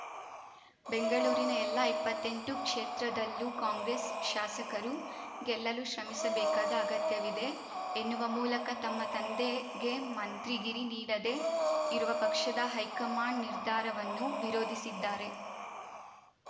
ಬೆಂಗಳೂರಿನ ಎಲ್ಲಾ ಇಪ್ಪತ್ತೆಂಟು ಕ್ಷೇತ್ರದಲ್ಲೂ ಕಾಂಗ್ರೆಸ್‌ ಶಾಸಕರು ಗೆಲ್ಲಲು ಶ್ರಮಿಸಬೇಕಾದ ಅಗತ್ಯವಿದೆ ಎನ್ನುವ ಮೂಲಕ ತಮ್ಮ ತಂದೆಗೆ ಮಂತ್ರಿಗಿರಿ ನೀಡದೇ ಇರುವ ಪಕ್ಷದ ಹೈಕಮಾಂಡ್‌ ನಿರ್ಧಾರವನ್ನು ವಿರೋಧಿಸಿದ್ದಾರೆ